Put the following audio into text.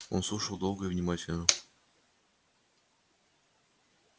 он слушал долго и внимательно